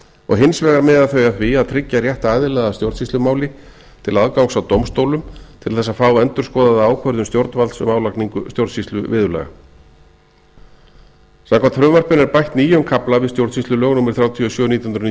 og hins vegar miða þau að því að tryggja rétt aðila að stjórnsýslumáli til aðgangs að dómstólum til þess að fá endurskoðaða ákvörðun stjórnvalds um álagningu stjórnsýsluviðurlaga samkvæmt frumvarpinu er bætt nýjum kafla við stjórnsýslulög númer þrjátíu og sjö nítján hundruð níutíu